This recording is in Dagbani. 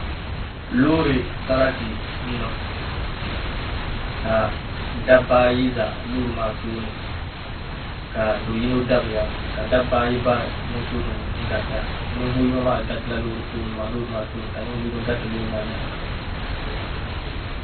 Loori sarati n niŋ ka dabba ayi ʒɛ loori maa tooni ka do yino dabiya ka dabba ayi bari moto garita ninvuɣu yino maa garitila loori maa tooni ka ninvuɣu yino gariti loori maa nyaanga